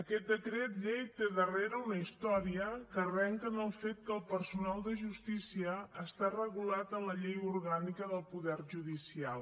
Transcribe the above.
aquest decret llei té darrere una història que arrenca del fet que el personal de justícia està regulat en la llei orgànica del poder judicial